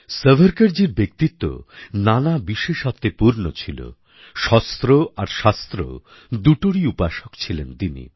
সাভারকরজীর ব্যক্তিত্ব নানা বিশেষত্বে পূর্ণ ছিল শস্ত্র আর শাস্ত্র দুটোরই উপাসক ছিলেন তিনি